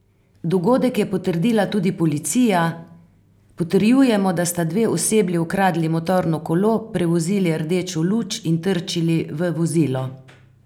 Dogodek je potrdila tudi policija: "Potrjujemo, da sta dve osebi ukradli motorno kolo, prevozili rdečo luč in trčili v vozilo.